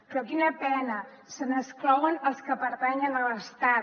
però quina pena se n’exclouen els que pertanyen a l’estat